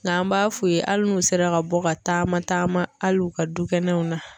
N'an b'a f'u ye hali n'u sera ka bɔ ka taama taama hali u ka dukɛnɛw na.